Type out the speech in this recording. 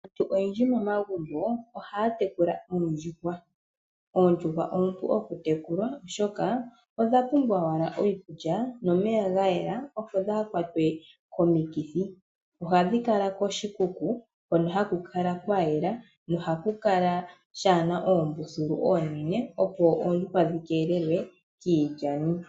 Aantu oyendji momagumbo ohaya tekula oondjuhwa . Oondjuhwa oompu okutekulwa oshoka odha pumbwa owala iikulya nomeya gayela opo dhaakwatwe komikithi , ohadhi kala koshikuku hono haku kala kwayela nohashi kala shaana oombululu oonene opo oondjuhwa dhikeelelwe kiilyani.